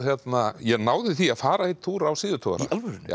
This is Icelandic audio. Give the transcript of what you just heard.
ég náði því að fara einn túr á síðutogara í alvörunni já